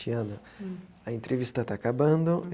Tiana, a entrevista está acabando.